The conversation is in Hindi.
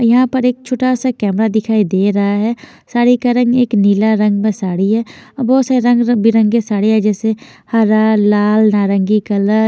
यहाँ पर एक छोटा सा कैमरा दिखाई दे रहा है साड़ी का रंग एक नीला रंग में साड़ी है बहोत से रंग बिरंगी साड़िया जैसे हरा लाल नारंगी कलर --